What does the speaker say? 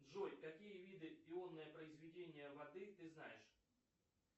джой какие виды ионное произведение воды ты знаешь